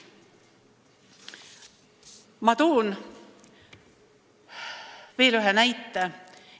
Ma toon veel ühe näite.